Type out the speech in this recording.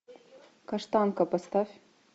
каштанка поставь